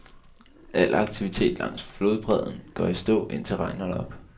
Al aktivitet langs flodbredden går i stå, indtil regnen holder op.